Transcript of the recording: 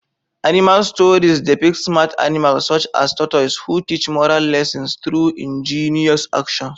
Animal stories depict smart animals, such as tortoises, who teach moral lessons through ingenious actions.